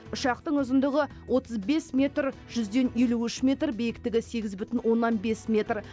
ұшақтың ұзындығы отыз бес метр жүзден елу үш метр биіктігі сегіз бүтін оннан бес метр